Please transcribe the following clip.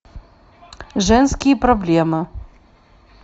женские проблемы